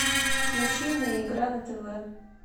включи мне игра на тв